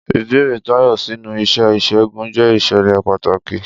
Ìbẹ̀rẹ̀ Tayo sínú iṣẹ́ ìṣègùn jẹ́ ìṣẹ̀lẹ̀ pàtàkì.